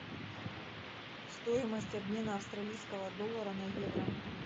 стоимость обмена австралийского доллара на евро